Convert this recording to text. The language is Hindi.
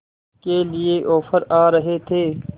के लिए ऑफर आ रहे थे